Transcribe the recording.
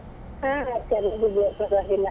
ಹಾ ಚೆನ್ನಾಗಿದೆ ಪರವಾಗಿಲ್ಲ.